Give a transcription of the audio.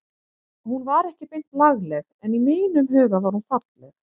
Hún var ekki beint lagleg en í mínum huga var hún falleg.